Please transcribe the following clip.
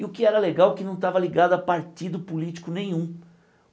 E o que era legal é que não estava ligado a partido político nenhum.